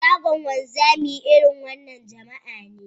Shagon wanzami, irin wannan jama'a ne